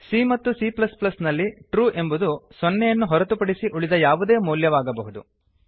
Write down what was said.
c ಮತ್ತು c ನಲ್ಲಿ true ಎಂಬುದು ಸೊನ್ನೆಯನ್ನು ಹೊರತುಪಡಿಸಿ ಉಳಿದ ಯಾವುದೇ ಮೌಲ್ಯವಾಗಬಹುದು